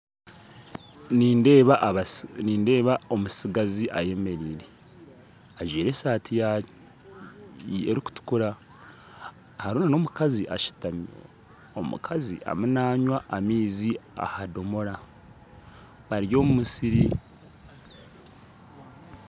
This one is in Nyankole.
Nindeeba omustigazi ayemereire ajwaire esaati erikutukura harimu n'omukazi ashutami omukazi arimu nanywa amaizi omu kidomora bari omu musiri